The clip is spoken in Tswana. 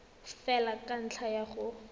fela ka ntlha ya go